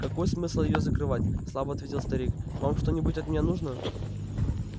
какой смысл её закрывать слабо ответил старик вам что-нибудь от меня нужно